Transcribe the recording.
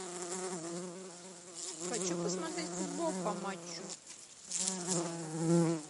хочу посмотреть футбол по матчу